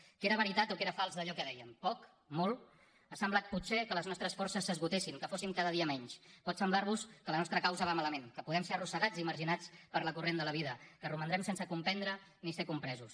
què era veritat o què era fals d’allò que dèiem poc molt ha semblat potser que les nostres forces s’esgotessin que fóssim cada dia menys pot semblarvos que la nostra causa va malament que podem ser arrossegats i marginats pel corrent de la vida que romandrem sense comprendre ni ser compresos